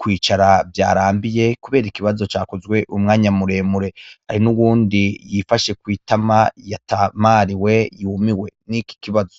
kwicara vyarambiye kubera ikibazo cakozwe umwanya muremure hari n'uwundi yifashe kwitama yatamariwe yumiwe niki kibazo.